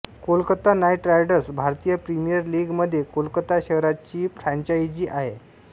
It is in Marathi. कोलकाता नाईट रायडर्स भारतीय प्रीमियर लीग मध्ये कोलकाता शहराची फ्रॅंचाईजी आहे